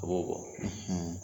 O b'o kɔ